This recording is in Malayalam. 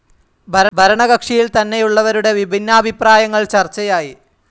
ഭരണകക്ഷിയിൽ തന്നെയുള്ളവരുടെ വിഭിന്നാഭിപ്രായങ്ങൾ ചർച്ചയായി.